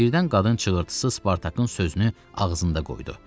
Birdən qadın çığırtısı Spartakın sözünü ağzında qoydu.